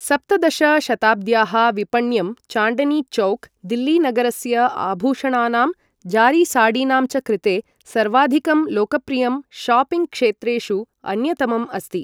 सप्तदश शताब्द्याः विपण्यं चाण्डनीचौक् दिल्लीनगरस्य आभूषणानाम्, जारीसाडीनां च कृते सर्वाधिकं लोकप्रियं शॉपिङ्ग् क्षेत्रेषु अन्यतमम् अस्ति ।